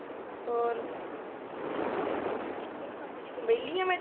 ਔਰ ਅੱਛਾ ਕਿਊ ਕਮ ਨੀ ਕੋਈ ਵੇਲੀ ਆ ਮੈਂ